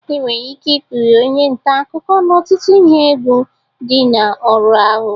Enwere ike ikpughe onye nta akụkọ n'ọtụtụ ihe egwu dị na ọrụ ahụ